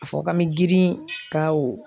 A fɔ k'an bɛ girin ka o.